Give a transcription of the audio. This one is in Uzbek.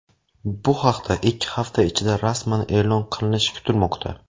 Bu haqda ikki hafta ichida rasman e’lon qilinishi kutilmoqda.